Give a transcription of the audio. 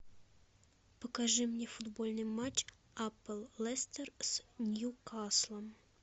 покажи мне футбольный матч апл лестер с ньюкаслом